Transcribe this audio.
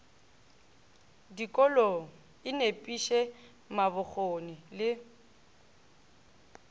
dikolong e nepiše mabokgone le